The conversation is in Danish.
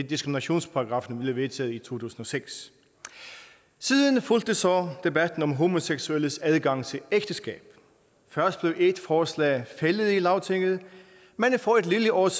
diskriminationsparagraffen endelig vedtaget i to tusind og seks siden fulgte så debatten om homoseksuelles adgang til ægteskab først blev et forslag fældet i lagtinget men for et lille års